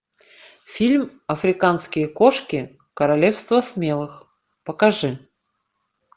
фильм африканские кошки королевство смелых покажи